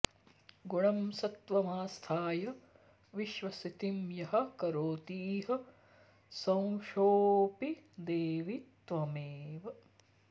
गुणं सत्त्वमास्थाय विश्वस्थितिं यः करोतीह सोंऽशोऽपि देवि त्वमेव